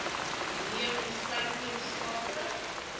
neem insluitend sake